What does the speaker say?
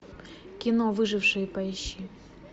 кино выжившие поищи